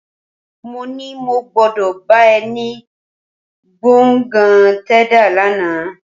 Mó ní mo gbọ́dọ̀ bá ẹ ní gbọ̀ngàn Tẹ́dà lánàá